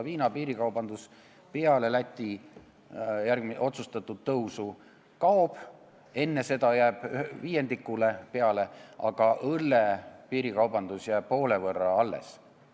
Viina piirikaubandus peale Läti otsustatud tõusu kaob, enne seda jääb ehk viiendiku peale, aga õlle piirikaubandusest pool jääb alles.